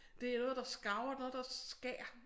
Det er noget der skaver noget der skær